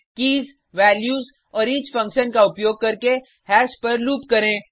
keys values और each function का उपयोग करके हैश पर लूप करें